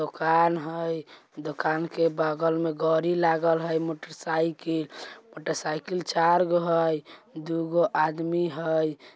दोकान है दोकान के बगल में गाड़ी लागल है मोटरसाइकिल | मोटरसाइकिल चार गो है दो गो आदमी है।